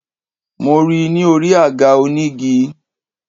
Mo ri i ni orí àga onígi